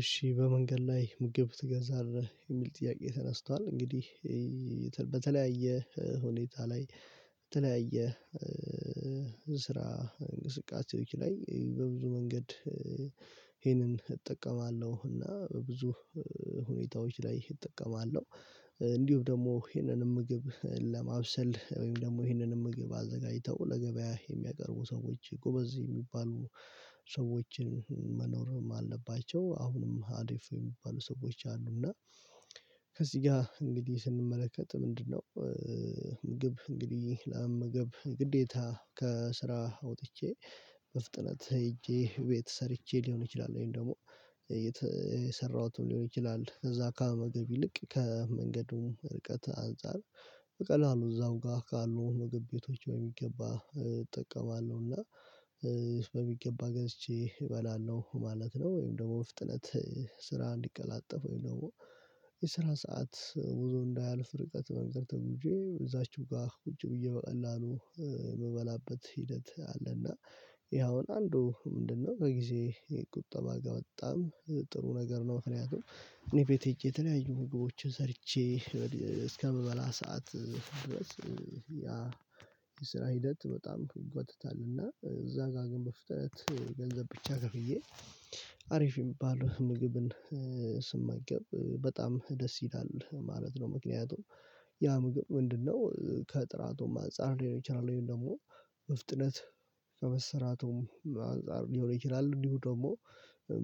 እሺ በመንገድ ላይ ምግብ ትገዛለህ የሚል ጥያቄ ተነስቷል? እንግዲህ በተለያየ ሁኔታ ላይ በተለያየ ስራ እንቅስቃሴዎች ላይ በብዙ መንገድ ይሄንን እጠቀማለሁ እና በብዙ ሁኔታዎች ላይ እጠቀማለሁ። እንዲሁም ደግሞ ይህንንም ምግብ ለማብሰል ወይም ደግሞ ይህንንም ምግብ አዘጋጅተው ለገበያ የሚያቀርቡ ሰዎች ጎበዝ የሚባሉ ሰዎችን መኖርም አለባቸው አሁንም አሪፍ የሚባሉ ሰዎች አሉ። እና ከዚህ ጋር እንግዲህ ስንመለከት ምንድነው? ምግብ እንግዲህ ለመመገብ ግዴታ ከስራ አውጥቼ በፍጥነት ሄጄ ቤት ሰርቼ ሊሆን ይችላል ወይም ደግሞ የተ የሰራሁትም ሊሆን ይችላል እዛ ከመመገብ ይልቅ ከመንገዱም ርቀት አንፃር በቀላሉ እዛው ጋር ካሉ ምግብ ቤቶች ወይ በሚገባ እጠቀማለሁ እና በሚገባ ገዝቼ እበላለሁ ማለት ነው። ወይም ደግሞ ፍጥነት ስራ እንዲቀላጠፍ ወይም ደግሞ የስራ ሰዓት ብዙ እንዳያልፍ ርቀት መንገድ ተጉዤ እዛችሁ ጋር ቁጭ ብዬ በቀላሉ ምበላበት ሂደት አለና። ይሄ አሁን አንዱ ምንድነው ከጊዜ ቁጠባ ጋር በጣም ጥሩ ነገር ነው። ምክንያቱም እኔ ቤቴ ሄጄ የተለያዩ ምግቦችን ሰርቼ እስከምበላ ሰዓት ያ የስራ ሂደት በጣም ይጓትታል እና እዛ ጋር ግን በፍጥነት ገንዘብ ብቻ ከፍዬ አሪፍ የሚባል ምግብን ስመገብ በጣም ደስ ይላል ማለት ነው። ምክንያቱም ያ ምግብ ምንድነው ከጥራቱም አንፃር ሊሆን ይችላል ወይም ደግሞ በፍጥነት ከመሰራቱም አንፃር ሊሆን ይችላል እንዲሁ ደግሞ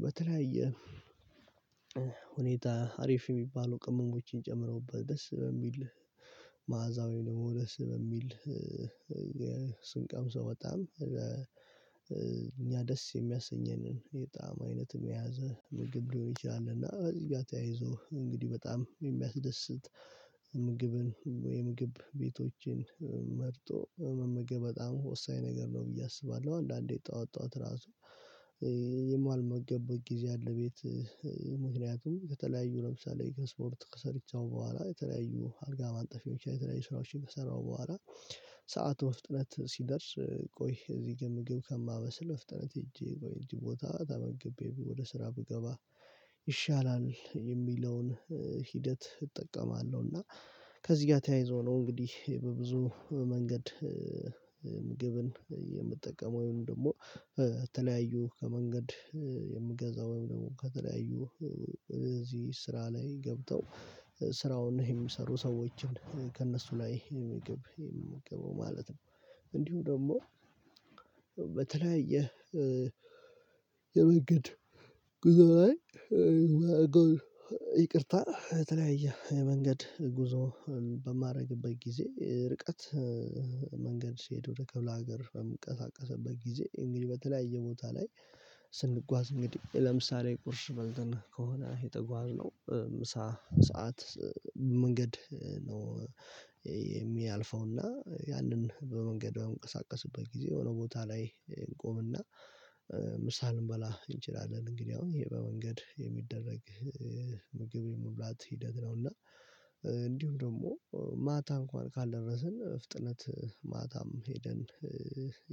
በተለያየ ሁኔታ አሪፍ የሚባሉ ቅመሞችን ጨምረውበት ደስ በሚል መዓዛ ወይም ደግሞ ደስ በሚል ስንቀምሰው በጣም እኛ ደስ የሚያሰኘንን የጣዕም አይነት የያዘ ምግብ ሊሆን ይችላል። እና ከእዚህ ጋር ተያይዞ እንግዲህ በጣም የሚያስደስት ምግብን የምግብ ቤቶችን መርጦ መመገብ በጣም ወሳኝ ነገር ነው ብዬ አስባለሁ። አንዳንዴ ጠዋት ጠዋት ራሱ የማልመገብበት ጊዜ አለ። ቤት ምክንያቱም ከተለያዩ ለምሳሌ ከስፖርት ሰርቼ በኋላ የተለያዩ አልጋ ማንጠፍ ሊሆን ይችላል የተለያዩ ስራዎችን ከሰራው በኋላ ሰዓት በፍጥነት ሲደርስ ቆይ እዚህ ግን ምግብ ከማበስል በፍጥነት ሄጄ ቦታ ተመግቤ ወደ ስራ ብገባ ይሻላል የሚለውን ሂደት እጠቀማለሁ። እና ከዚህ ጋር ተያይዞ ነው እንግዲህ በብዙ መንገድ ምግብን የምጠቀመው ወይም ደግሞ የተለያዩ ከመንገድ የምገዛው ወይም ደግሞ ከተለያዩ እዚህ ስራ ላይ ገብተው ስራውን የሚሰሩ ሰዎችን ከእነሱ ላይ ምግብ የምመገበው ማለት ነው። እንዲሁ ደግሞ በተለያየ የመንገድ ጉዞ ላይ ይቅርታ የተለያየ የመንገድ ጉዞ በማደርግበት ጊዜ ርቀት መንገድ ሲሄድ ወደ ክፍለ ሀገር በምንቀሳቀስበት ጊዜ እንግዲህ በተለያየ ቦታ ላይ ስንጓዝ እንግዲህ ለምሳሌ ቁርስ በልተን ከሆነ የተጓዝነው ሰዓት መንገድ ነው። የሚያልፈው እና ያንን በመንገድ በምንቀሳቀስበት ጊዜ የሆነ ቦታ ላይ እንቆምና ምሳ ልንበላ እንችላለን እንግዲህ አሁን ይሄ በመንገድ የሚደረግ ምግብ የመብላት ሂደት ነው። እና እንዲሁም ደግሞ ማታ እንኳን ካልደረስን በፍጥነት ማታም ሄደን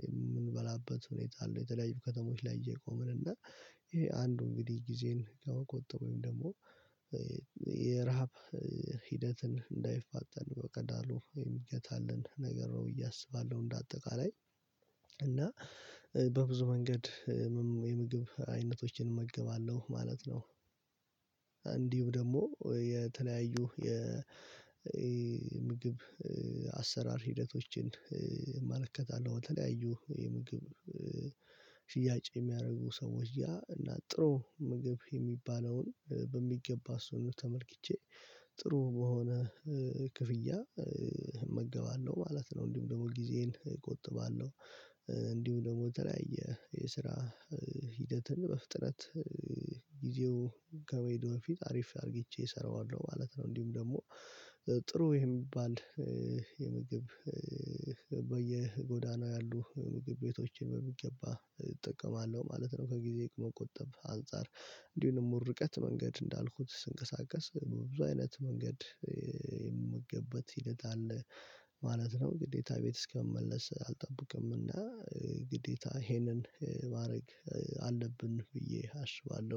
የምንበላበት ሁኔታ አለው። የተለያዩ ከተሞች ላይ እየቆመን እና ይሄ አንዱ እንግዲህ ጊዜን ከመቆጠብ ወይም ደግሞ የረሃብ ሂደትን እንዳይፋጠን በቀላሉ የሚገታልን ነገር ነው ብዬ አስባለሁ። እንደ አጠቃላይ እና በብዙ መንገድ የምግብ አይነቶችን እመገባለሁ ማለት ነው። እንዲሁ ደግሞ የተለያዩ የምግብ አሰራር ሂደቶችን እመለከታለሁ በተለያዩ የምግብ ሽያጭ የሚያደርጉ ሰዎች ያ እና ጥሩ ምግብ የሚባለውን በሚገባ እሱን ተመልክቼ ጥሩ በሆነ ክፍያ እመገባለሁ ማለት ነው። እንዲሁም ደግሞ ጊዜዬን እቆጥባለሁ። እንዲሁ ደግሞ የተለያየ የስራ ሂደትን በፍጥነት ጊዜው ከመሄዱ በፊት አሪፍ አርግቼ እሰራዋለሁ ማለት ነው። እንዲሁም ደግሞ ጥሩ የሚባል የምግብ በየጎዳናው ያሉ ምግብ ቤቶችን በሚገባ እጠቀማለሁ ማለት ነው። ከጊዜ መቆጠብ አንፃር እንዲሁም ደግሞ ርቀት መንገድ እንዳልኩት ስንቀሳቀስ በብዙ አይነት መንገድ የምመገብበት ሂደት አለ ማለት ነው። ግዴታ ቤት እስከምመለስ አልጠበቅም እና ግዴታ ይሄንን ማድረግ አለብን ብዬ አስባለሁ